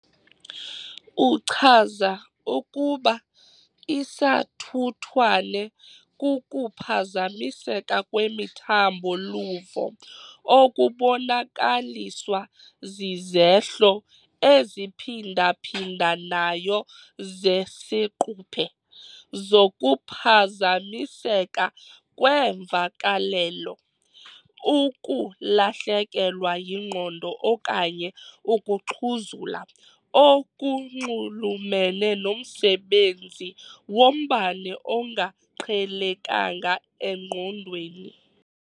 Uchaza ukuba isathuthwane kukuphazamiseka kwemithambo-luvo okubonakaliswa zizehlo eziphindaphindanayo zesiquphe zokuphazamiseka kweemvakalelo, ukulahlekelwa yingqondo okanye ukuxhuzula, okunxulumene nomsebenzi wombane ongaqhelekanga engqondweni.